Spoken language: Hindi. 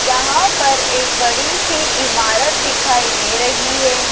यहां पर एक बड़ी सी इमारत दिखाई दे रही है।